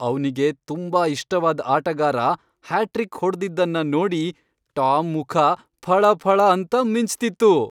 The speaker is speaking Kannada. ಅವ್ನಿಗೆ ತುಂಬಾ ಇಷ್ಟವಾದ್ ಆಟಗಾರ ಹ್ಯಾಟ್ರಿಕ್ ಹೊಡ್ದಿದ್ದನ್ನ ನೋಡಿ ಟಾಮ್ ಮುಖ ಫಳಫಳ ಅಂತ ಮಿಂಚ್ತಿತ್ತು.